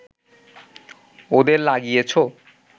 ওদের লাগিয়েছো